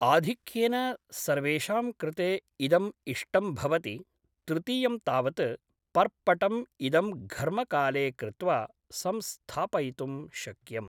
आधिक्येन सर्वेषां कृते इदम् इष्टं भवति तृतीयं तावत् पर्पटम् इदं घर्मकाले कृत्वा संस्थापयितुं शक्यम्